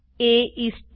એ ઇસ 10